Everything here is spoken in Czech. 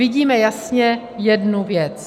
Vidíme jasně jednu věc.